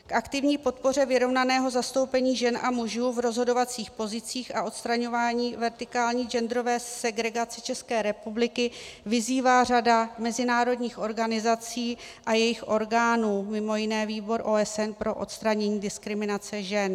K aktivní podpoře vyrovnaného zastoupení žen a mužů v rozhodovacích pozicích a odstraňování vertikální genderové segregace České republiky vyzývá řada mezinárodních organizací a jejich orgánů, mimo jiné Výbor OSN pro odstranění diskriminace žen.